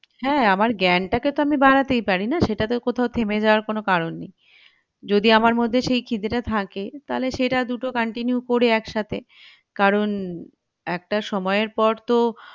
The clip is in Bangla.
হ্যাঁ আমার জ্ঞান টাকে তো আমি বাড়াতেই পারি না সেটা তো কোথাও থেমে যাওয়ার কোনো কারন নেই যদি আমার মধ্যে সে খিদে টা থাকে তালে সেটা দুটা continue করে একসাথে কারণ একটা সময়ের পর তো